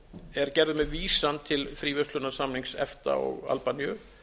er gerður með vísan til fríverslunarsamnings efta og albaníu